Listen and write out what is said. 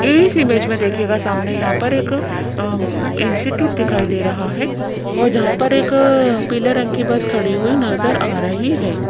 इस इमेज में देखिएगा सामने यहां पर एक अम् इंस्टिट्यूट दिखाई दे रहा है और जहां पर एक पीले रंग की बस खड़ी हुई नजर आ रही है।